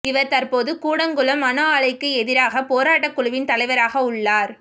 இவர் தற்போது கூடங்குளம் அணு ஆலைக்கு எதிரான போராட்டக் குழுவின் தலைவராக உள்ளார்